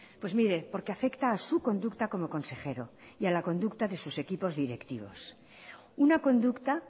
pues mire porque afecta a su conducta como consejero y a la conducta de sus equipos directivos una conducta